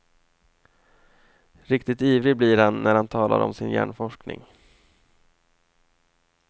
Riktigt ivrig blir han när han talar om sin hjärnforskning.